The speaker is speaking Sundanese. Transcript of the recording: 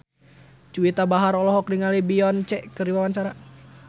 Juwita Bahar olohok ningali Beyonce keur diwawancara